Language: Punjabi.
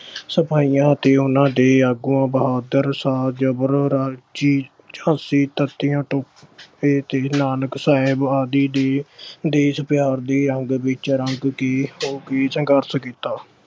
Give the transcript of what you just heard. ਸਿਪਾਹੀਆਂ ਅਤੇ ਉਹਨਾਂ ਦੇ ਆਗੂਆਂ ਬਹਾਦੁਰ ਸ਼ਾਹ, ਜਬਰ ਤੇ ਨਾਨਕ ਸਾਹਿਬ ਆਦਿ ਦੇ ਦੇਸ਼ ਪਿਆਰ ਦੇ ਰੰਗ ਵਿੱਚ ਰੰਗ ਕੇ ਕੌਮੀ ਸੰਘਰਸ਼ ਕੀਤਾ।